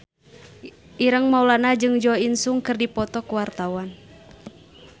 Ireng Maulana jeung Jo In Sung keur dipoto ku wartawan